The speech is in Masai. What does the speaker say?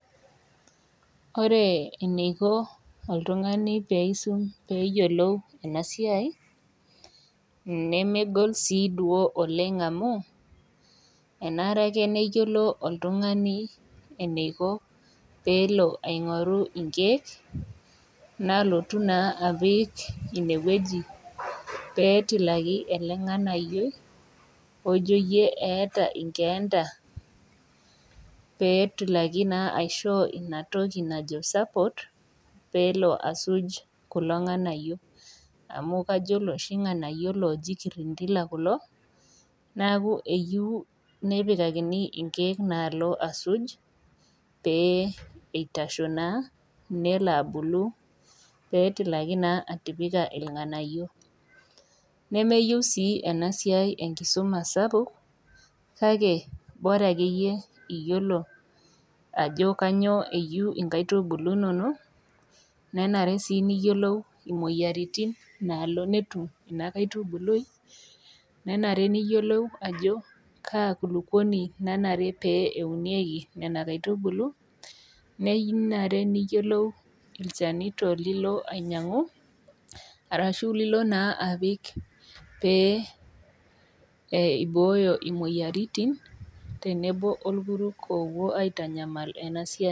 Ore eneiko oltungani peisum peyiolou enasiai , nemegol siduo oleng amu enare ake neyiolo oltungani pelo aingoru inkiek pelotu naa apik inewueji , petilaki naa elenganayioi ojo yie eeta nkeeta petilaki naa aishoo inatoki najo support peloasuj kulo nganayio amu nanu kajo nanu iloshi nganayio loji kirindila kulo neku eyieu nepikakini inkiek nalo asuj pee eitasho naa nelo abulu petilaki naa atipika irnganayio, nemeyieu sii enasiai enkisuma sapuk kake bora akeyie iyiolo ajo kainyio eyieu nkaitubulu inonok, nanare sii niyiolou imoyiaritin nalo netum nena kaitubului , nenare niyiolou ajo kaa kulukuoni nanare pee eunieki , nenare niyiolou ilchanito lilo apik pee eibooyo imoyiaritin tenelo orkuruk opuo aitanyamal enasiai.